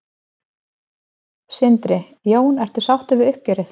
Sindri: Jón, ertu sáttu við uppgjörið?